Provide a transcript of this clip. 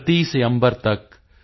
ਧਰਤੀ ਸੇ ਅੰਬਰ ਤਕ